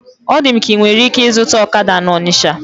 Ọ dị m ka inwere ike ịzụta ọkada na Ọnisha